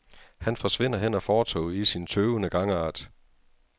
Han forsvinder hen ad fortovet i sin tøvende gangart.